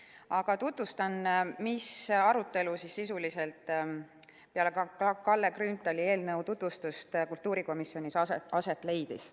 Aga tutvustan, milline arutelu peale Kalle Grünthali eelnõu tutvustust kultuurikomisjonis aset leidis.